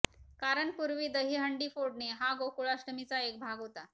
कारण पूर्वी दहीहंडी फोडणे हा गोकुळाष्टमीचा एक भाग होता